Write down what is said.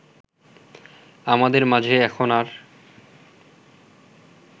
আমাদের মাঝে এখন আর